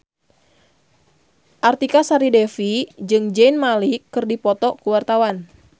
Artika Sari Devi jeung Zayn Malik keur dipoto ku wartawan